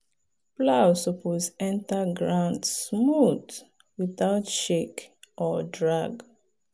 plow suppose enter ground smooth without shake or drag.